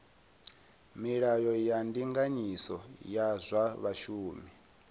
milayo ya ndinganyiso ya zwa vhashumi